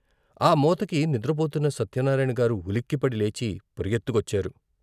ఆ మోతకి నిద్రపోతున్న సత్యనారాయణగారు ఉలిక్కిపడి లేచి పరుగెత్తుకొచ్చారు.